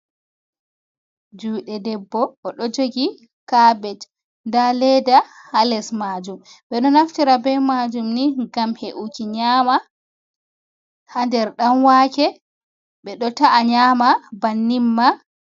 jude debbo o do jogi kabet da ledda ha les majum be do naftira bei majum ni gam he’uki nyama ha nder dan wake bedo ta’a nyama bannin ma